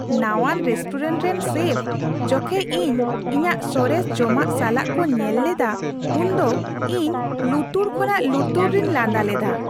ᱱᱟᱶᱟᱱ restaurant ᱨᱮᱱ chef ᱡᱚᱠᱷᱮᱡ ᱤᱧ ᱤᱧᱟᱹᱜ ᱥᱚᱨᱮᱥ ᱡᱚᱢᱟᱜ ᱥᱟᱞᱟᱜ ᱠᱚ ᱧᱮᱞ ᱞᱮᱫᱟ, ᱩᱱ ᱫᱚ ᱤᱧ ᱞᱩᱛᱩᱨ ᱠᱷᱚᱱᱟᱜ ᱞᱩᱛᱩᱨ ᱨᱤᱧ ᱞᱟᱸᱫᱟ ᱞᱮᱫᱟ ᱾